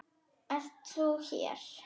Ert þú hér!